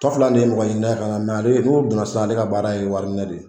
Tɔ fila ni ye mɔgɔ ɲinina ye kana ale n'o donna sisan ale ka baara ye wari minɛ de ye.